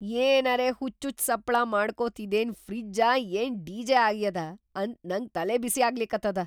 ಏನರೇ ಹುಚ್ಚುಚ್ಚ್‌ ಸಪ್ಪಳಾ ಮಾಡ್ಕೋತ್‌ ಇದೇನ್ ಫ್ರಿಜ್ಜಾ ಏನ್‌ ಡಿ.ಜೆ. ಆಗ್ಯಾದಾ ಅಂತ ನಂಗ್‌ ತಲಿಬಿಸಿ ಆಗ್ಲಿಕತ್ತದ!